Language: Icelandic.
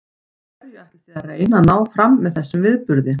Hverju ætlið þið að reyna að ná fram með þessum viðburði?